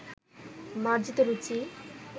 মার্জিত রুচি